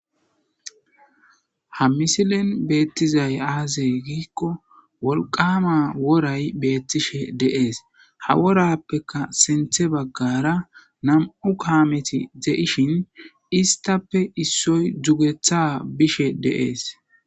Ha misilen beettizay aaze giikko wolqama woray beettishe deees ha worappeka senthe baggara nam'u kaameti ze'ishin istappe issoy dugetha bishe deees